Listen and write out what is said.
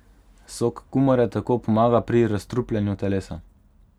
Sok kumare tako pomaga pri razstrupljanju telesa.